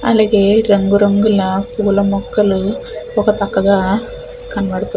అలాగే రంగురంగుల పూల మొక్కలు ఒక పక్కగా కనబడుతూ --